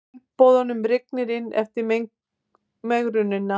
Tilboðunum rignir inn eftir megrunina